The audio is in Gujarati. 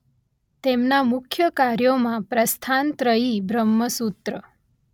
તેમના મુખ્ય કાર્યોમાં પ્રસ્થાનત્રયી બ્રહ્મસૂત્ર